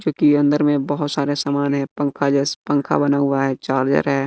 चूंकि अंदर में बहोत सारे समान है पंखा जैसे पंखा बना हुआ है चार्जर है।